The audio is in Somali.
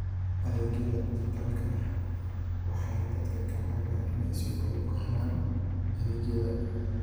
Adeegyada dijitaalka ah waxay dadka ka caawiyaan inay si fudud u helaan adeegyada.